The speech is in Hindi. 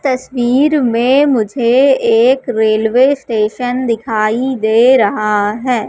तस्वीर में मुझे एक रेलवे स्टेशन दिखाई दे रहा है।